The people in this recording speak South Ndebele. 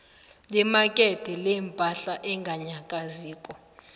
lemakethe lepahla enganyakaziko